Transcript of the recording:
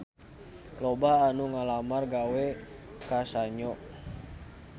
Loba anu ngalamar gawe ka Sanyo